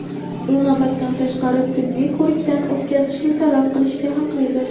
u navbatdan tashqari tibbiy ko‘rikdan o‘tkazishni talab qilishga haqlidir.